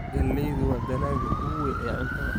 Galleydu waa dalagga ugu weyn ee cuntada.